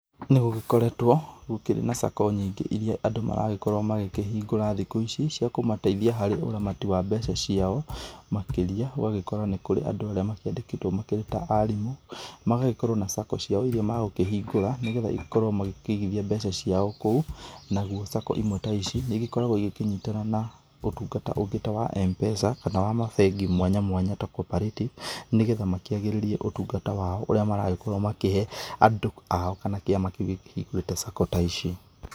Nĩgũgĩkoretwo gũkĩrĩ na sacco nyingĩ iria andũ maragĩkorwo magĩkĩhingũra thikũ ici cia kũmateithia harĩ ũramati wa mbeca ciao, makĩria ũgagĩkora nĩ kũrĩ andũ arĩa makĩandĩkĩtwo makĩrĩ ta arimũ, magagĩkorwo na sacco ciao iria magũkĩhingũra nĩgetha makorwo magĩkĩigithia mbeca ciao kou, naguo sacco imwe ta ici nĩ igĩkoragwo igĩkĩnyitana na ũtungata ũngĩ ta wa M-Pesa kana wa mabengi mwanya mwanya ta cooperative, nĩgetha makĩagĩririe ũtungata wao ũrĩa maragĩkorwo makĩhe andũ ao kana kĩama kĩu gĩkĩhingũrĩte sacco ta ici.